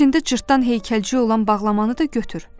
İçində cırtdan heykəlciyi olan bağlamanı da götür.